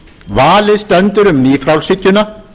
valið stendur um nýfrjálshyggjuna